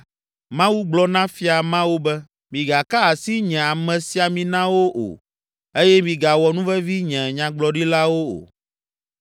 Mawu gblɔ na fia mawo be, “Migaka asi nye amesiaminawo o eye migawɔ nuvevi nye nyagblɔɖilawo o.”